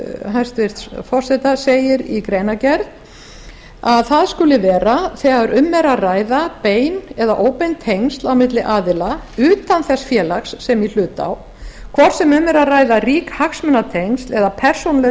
hæstvirts forseta segir í greinargerð að það skuli vera þegar um er að ræða bein eða óbein tengsl á milli aðila utan þess félags sem í hlut á hvort sem um er að ræða rík hagsmunatengsl eða persónuleg